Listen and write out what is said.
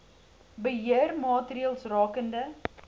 beheer maatreëls rakende